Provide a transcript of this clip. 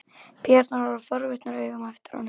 Píurnar horfa forvitnum augum á eftir honum.